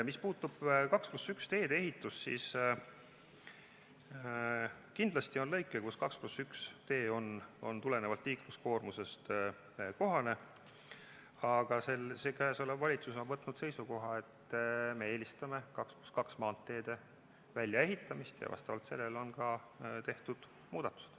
Mis puutub 2 + 1 teede ehitusse, siis kindlasti on lõike, kus 2 + 1 tee on tulenevalt liikluskoormusest kohane, aga praegune valitsus on võtnud seisukoha, et me eelistame 2 + 2 maanteede väljaehitamist ja vastavalt sellele on tehtud muudatused.